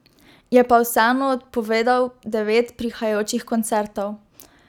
Je pa vseeno odpovedal devet prihajajočih koncertov.